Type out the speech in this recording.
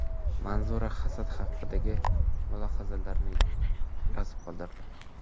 Manzura hasad haqidagi mulohazalarini yozib qoldirdi.